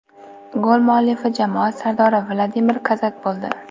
Gol muallifi jamoa sardori Vladimir Kozak bo‘ldi.